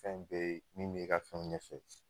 Fɛn bee min b'i ka fɛnw ɲɛfɛ